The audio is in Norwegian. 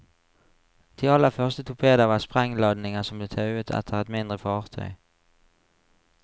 De aller første torpedoer var sprengladninger som ble tauet etter et mindre fartøy.